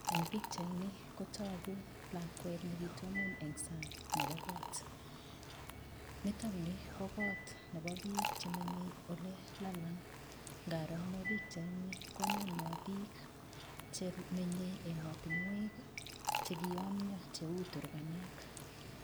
Eng pichaini kotogu lakwet nekitonon eng san'g nebo koot. Nitokni ko koot nebo piik chemenyei olelalan'g. Ngaro ane pichaini kononwa piik chemenyei ematinwek chekiyomio cheu turkanek.